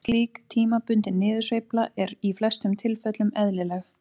Slík tímabundin niðursveifla er í flestum tilfellum eðlileg.